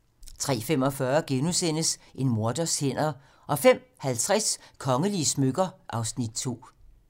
03:45: En morders hænder * 05:50: Kongelige smykker (Afs. 2)